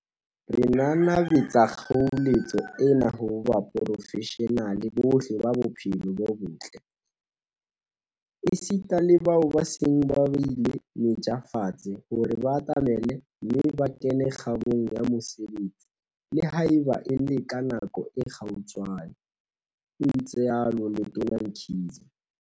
"Re nanabetsa kgoeletso ena ho baporofeshenale bohle ba bophelo bo botle, esita le bao ba seng ba beile meja fatshe, hore ba atamele mme ba kene kgabong ya mosebetsi, le haeba e le ka nako e kgutshwane," o itsalo Letona Mkhize.